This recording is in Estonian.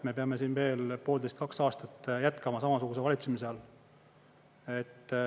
Me peame siin veel poolteist, kaks aastat jätkama samasuguse valitsemise all.